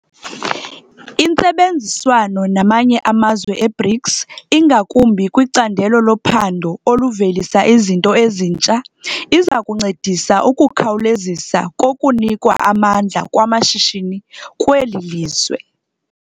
Intsebenziswano namanye amazwe e-BRICS, ingakumbi kwicandelo lophando oluvelisa izinto ezintsha, iza kuncedisa ukukhawulezisa kokunikwa amandla kwamashishini kweli lizwe.